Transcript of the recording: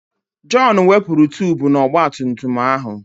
Jọn wepụrụ tubu nọ n'ọgbatumtum ahụ.